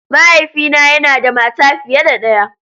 Mahaifina yana da mata fiye da ɗaya.